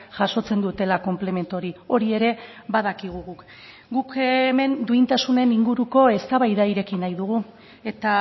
jasotzen dutela konplemento hori hori ere badakigu guk guk hemen duintasunen inguruko eztabaida ireki nahi dugu eta